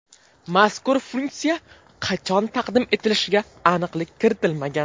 Mazkur funksiya qachon taqdim etilishiga aniqlik kiritilmagan.